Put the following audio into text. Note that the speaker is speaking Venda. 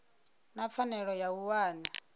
na pfanelo ya u wana